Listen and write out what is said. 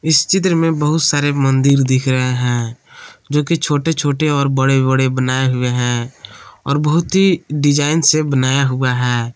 इस चित्र में बहुत सारे मंदिर दिख रहे हैं जो कि छोटे छोटे और बड़े बड़े बनाए हुए हैं और बहुत ही डिजाइन से बनाया हुआ है।